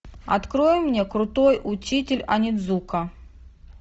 открой мне крутой учитель онидзука